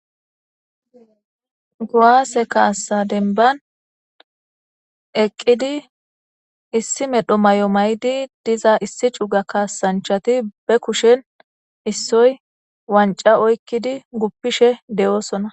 Guaase kaassa denban eqqidi issi medho may7o maydi diza issi cuga kaasanchati be kushen issoy wanca oykkidi guppishe de7oosona